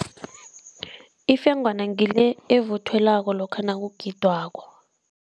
Ifengwana ngile evuthelwako lokha nakugidwako.